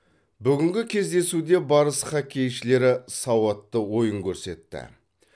бүгінгі кездесуде барыс хоккейшілері сауатты ойын көрсетті